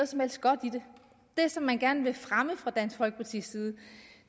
som helst godt i det det som man gerne vil fremme fra dansk folkepartis side